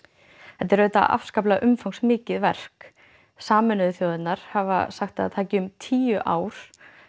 þetta er auðvitað afskaplega umfangsmikið verk Sameinuðu þjóðirnar hafa sagt að það taki um tíu ár